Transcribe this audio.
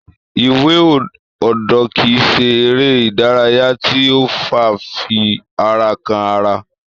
Iwe odo kii ṣe eré ìdárayá tí ó fa fifi ara kan ara.